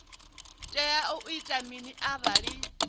tea u ita mini arali